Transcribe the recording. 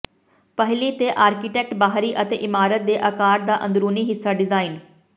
ਪਹਿਲੀ ਤੇ ਆਰਕੀਟੈਕਟ ਬਾਹਰੀ ਅਤੇ ਇਮਾਰਤ ਦੇ ਆਕਾਰ ਦਾ ਅੰਦਰੂਨੀ ਹਿੱਸਾ ਡਿਜ਼ਾਈਨ